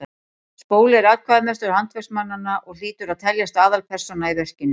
spóli er atkvæðamestur handverksmannanna og hlýtur að teljast aðalpersóna í verkinu